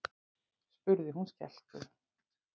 spurði hún skelkuð.